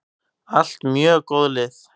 Allt mjög góð lið.